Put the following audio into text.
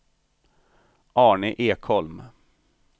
Arne Ekholm